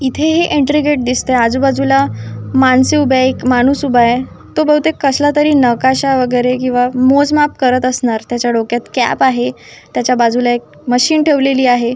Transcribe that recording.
इथे हे entry gate दिसतय आजूबाजूला माणसे उभेय एक माणूस उभाय तो बहुतेक कसला तरी नकाशा वगैरे किंवा मोजमाप करत असणार त्याच्या डोक्यात कॅप आहे त्याच्या बाजूला एक मशीन ठेवलेली आहे.